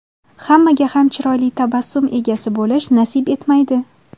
Hammaga ham chiroyli tabassum egasi bo‘lish nasib etmaydi.